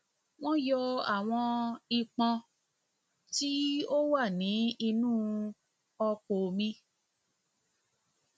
wọn yọ àwọn ìpọn tí tí ó wà ní inú ọpò mi